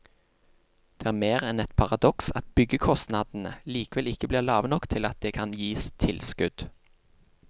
Det er mer enn et paradoks at byggekostnadene likevel ikke blir lave nok til at det kan gis tilskudd.